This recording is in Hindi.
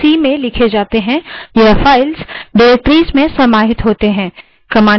commands वास्तव में files हैं जिसमें programs होते हैं जो अक्सर c में लिखी जाती हैं